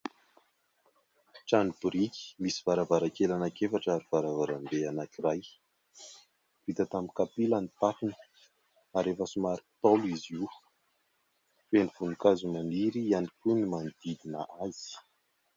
Trano boriky misy varavarankely anankiefatra ary varavarambe anankiray vita tamin-kapila ny tafony ary efa somary Ntaolo izy io. Feno voninkazo maniry ihany koa ny manodidina azy.